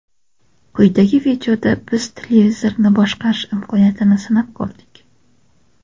Quyidagi videoda biz televizorni boshqarish imkoniyatini sinab ko‘rdik.